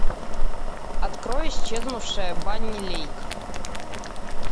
открой исчезнувшая банни лейк